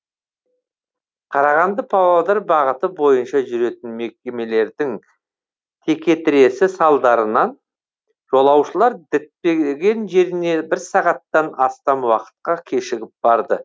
қарағанды павлодар бағыты бойынша жүретін мекемелердің текетіресі салдарынан жолаушылар діттеген жеріне бір сағаттан астам уақытқа кешігіп барды